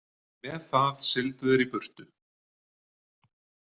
"Með það sigldu þeir í burtu""."